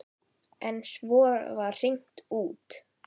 En svo var hringt út.